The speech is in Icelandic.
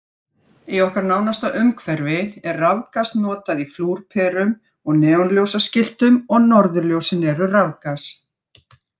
Í okkar nánasta umhverfi er rafgas notað í flúrperum og neonljósaskiltum og norðurljósin eru rafgas.